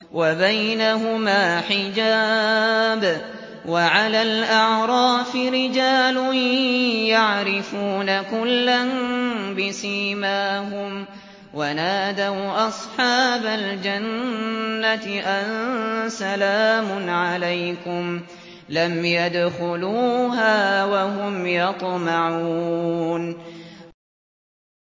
وَبَيْنَهُمَا حِجَابٌ ۚ وَعَلَى الْأَعْرَافِ رِجَالٌ يَعْرِفُونَ كُلًّا بِسِيمَاهُمْ ۚ وَنَادَوْا أَصْحَابَ الْجَنَّةِ أَن سَلَامٌ عَلَيْكُمْ ۚ لَمْ يَدْخُلُوهَا وَهُمْ يَطْمَعُونَ